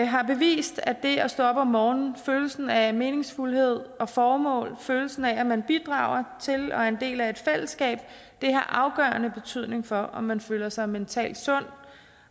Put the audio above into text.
har bevist at det at stå op om morgenen med følelsen af meningsfuldhed og formål følelsen af at man bidrager til og er en del af et fællesskab har afgørende betydning for om man føler sig mentalt sund